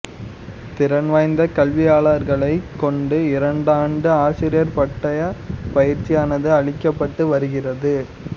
திறன் வாய்ந்தக் கல்வியாளர்களைக் கொண்டு இரண்டாண்டு ஆசிரியப் பட்டய பயிற்சியானது அளிக்கப்பட்டு வருகிறது